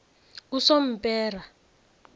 usompera